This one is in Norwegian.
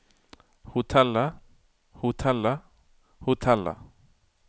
hotellet hotellet hotellet